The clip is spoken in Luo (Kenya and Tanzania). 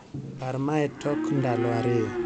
Par mae tok ndalo ariyo